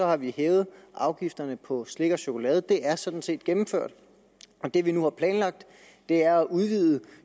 har vi hævet afgifterne på slik og chokolade det er sådan set gennemført det vi nu har planlagt er at udvide